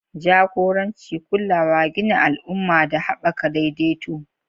Jagoranci, kulawa, gina al'umma, da haɓaka daidaito.